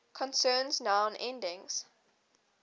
concerns noun endings